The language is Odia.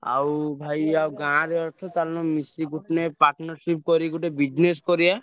ଆଉ ଭାଇ ଆଉ ଗାଁରେ ଅଛ ଚାଳୁନ ମିଶିକି ଗୋଟିଏ partnership କରି ଗୋଟେ business କରିଆ।